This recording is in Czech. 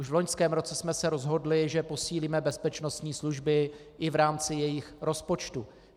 Už v loňském roce jsme se rozhodli, že posílíme bezpečnostní služby i v rámci jejich rozpočtu.